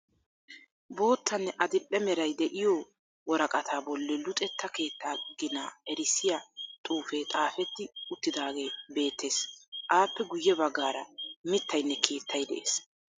Boottanne adil"e meray de'iyo woraqataa bolli luxetta keettaa ginaa erissiya xuufe xaafetti uttidaagee beettees. Appe guye baggaara mittayinne keettay de'ees.